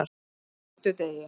fimmtudegi